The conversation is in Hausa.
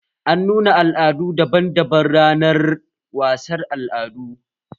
An nuna al'adu daban daban ranar wasar al'adu